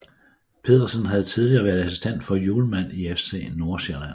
Pedersen havde tidligere været assistent for Hjulmand i FC Nordsjælland